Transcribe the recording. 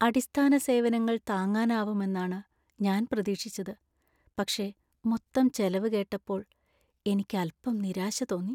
അടിസ്ഥാന സേവനങ്ങൾ താങ്ങാനാവുമെന്നാണ് ഞാൻ പ്രതീക്ഷിച്ചത്, പക്ഷേ മൊത്തം ചെലവ് കേട്ടപ്പോൾ എനിക്ക് അൽപ്പം നിരാശ തോന്നി.